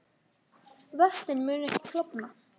Vötnin munu ekki klofna